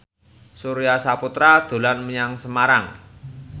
Surya Saputra dolan menyang Semarang